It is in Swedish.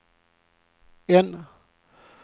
N